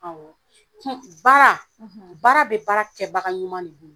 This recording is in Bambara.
Awɔ baara baara be baara kɛbaga ɲuman de bolo.